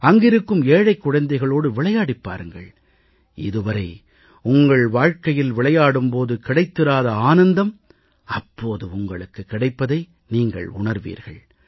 அங்கிருக்கும் ஏழைக் குழந்தைகளோடு விளையாடிப் பாருங்கள் இதுவரை உங்கள் வாழ்கையில் விளையாடும் போது கிடைத்திராத ஆனந்தம் அப்போது உங்களுக்கு கிடைப்பதை நீங்கள் உணர்வீர்கள்